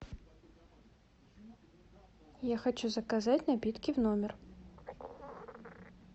я хочу заказать напитки в номер